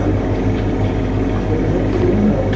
Lillý: Koma fleiri en einn til greina, eða?